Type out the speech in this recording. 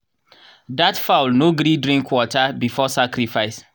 that fowl no gree drink water before sacrifice.